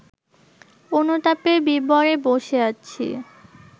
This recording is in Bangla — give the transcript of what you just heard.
অনুতাপের বিবরে ব’সে আছি